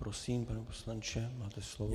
Prosím, pane poslanče, máte slovo.